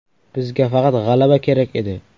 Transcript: Bizga faqat g‘alaba kerak edi.